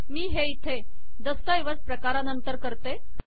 मी हे इथे दस्तऐवज प्रकारानंतर करते